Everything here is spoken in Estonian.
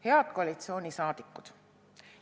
Head koalitsiooni liikmed!